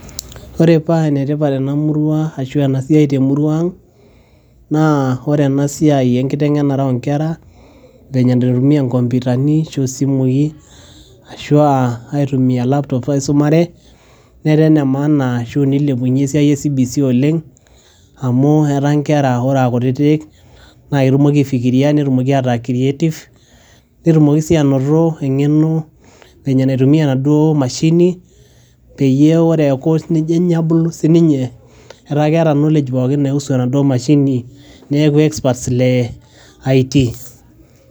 Ore embae etipat tenamuruabashu enetipat tenamurua aang naa ore enasiai enkitengenare onkera venye naitumia komputani osimui ashu aa aitumia laptop aisumare netaa enemaana neilepunye esiai e cbc oleng amu ataa nkera ore a kutitik na ketumoki aifikiria netumoki ataa creative netumoki si ainoto engeno vile naitumia naduo mashini peyie ore eaku nejo abulu sinye eata keata knowledge enaduo mashini neaku experts le it.